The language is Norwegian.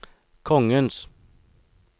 kongens